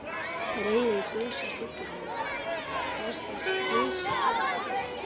Reiðin gusast út úr honum: Hverslags klisja er það?